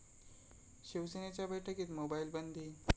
शिवसेनेच्या बैठकीत मोबाईल बंदी